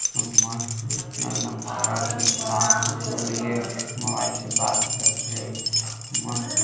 केतना मस्त मोबाइल से बात करब करे हेय मस्त --